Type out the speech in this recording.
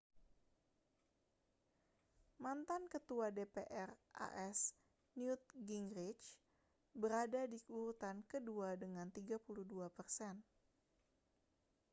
mantan ketua dpr as newt gingrich berada di urutan kedua dengan 32 persen